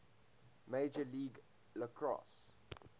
major league lacrosse